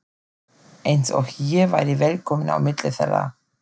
Eins og ég væri velkominn á milli þeirra.